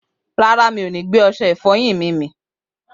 Rárá, mi ò ni gbé ọsẹ ìfọyín mi mì